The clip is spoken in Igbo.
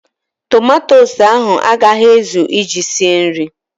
Tomatosu ahụ a gaghị ezụ iji sie nri.